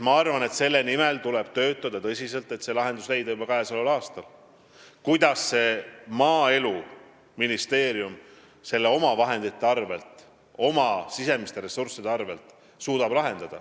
Ma arvan, et tuleb tõsiselt töötada selle nimel, et leida juba käesoleval aastal lahendus, kuidas Maaeluministeerium saaks seda teha omavahendite, oma sisemiste ressursside arvel.